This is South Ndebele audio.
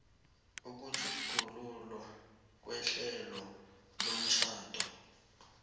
ukutjhugululwa kwehlelo lomtjhado